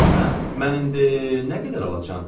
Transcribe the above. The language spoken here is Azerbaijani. Hə, mən indi nə qədər alacağam?